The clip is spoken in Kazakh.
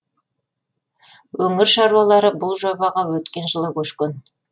өңір шаруалары бұл жобаға өткен жылы көшкен